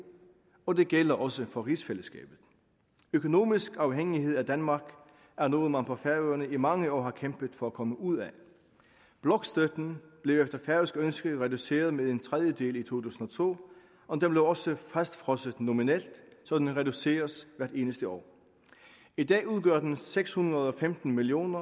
og det gælder også for rigsfællesskabet økonomisk afhængighed af danmark er noget man på færøerne i mange år har kæmpet for at komme ud af blokstøtten blev efter færøsk ønske reduceret med en tredjedel i to tusind og to og den blev også fastfrosset nominelt så den reduceres hvert eneste år i dag udgør den seks hundrede og femten million